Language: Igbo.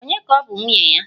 Ònye ka ọ bụ nwunye ya?